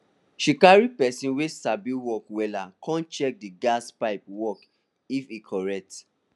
she carry person wey sabi work wella come check di gas pipe work if e correct